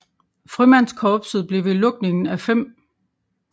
Frømandskorpset blev ved lukningen af 5